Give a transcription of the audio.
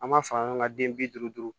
An b'a fɔ an ka den bi duuru